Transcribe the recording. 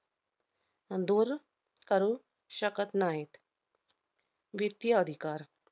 दूर करू शकत नाहीत. वित्तीय अधिकार